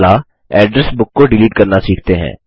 अगला address book को delete करना सीखते हैं